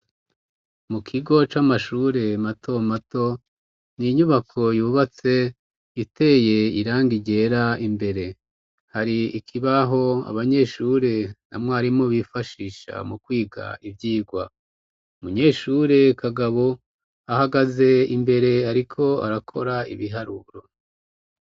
Mu kigo c'amashure matomato, ni inyubako yubatse iteye irangi ryera imbere. Hari ikibaho abanyeshure na mwarimu bifashisha mu kwiga ivyigwa. Umunyeshure Kagabo ahagaze imbere ariko arakora ibiharuro.